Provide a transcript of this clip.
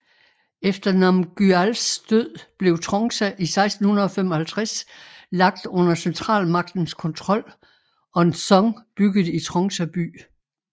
Efter Namgyals død blev Trongsa i 1655 lagt under centralmagtens kontrol og en dzong bygget i Trongsa by